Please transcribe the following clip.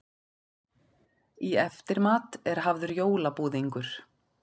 Í eftirmat er hafður jólabúðingur.